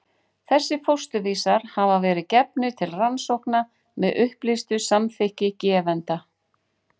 Þessir fósturvísar hafa verið gefnir til rannsókna með upplýstu samþykki gefenda.